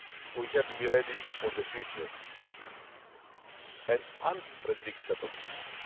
We have to be ready for the future an unpredictable future.